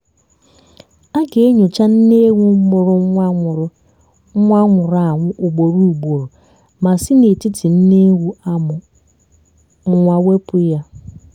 a ga-enyocha nne ewu mụrụ nwa nwụrụ nwa nwụrụ anwụ ugboro ugboro ma si n'etiti nne ewu amụ nwa wepụ ya